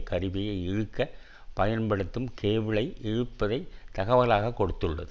கருவியை இழுக்க பயன்படுத்தும் கேபிளை இழுப்பதை தகவலாகக் கொடுத்துள்ளது